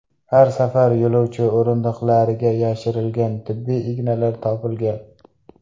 Har safar yo‘lovchi o‘rindiqlariga yashirilgan tibbiy ignalar topilgan.